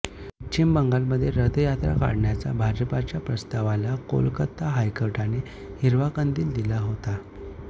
पश्चिम बंगालमध्ये रथयात्रा काढण्याचा भाजपच्या प्रस्तावाला कोलकता हायकोर्टाने हिरवा कंदील दिला होता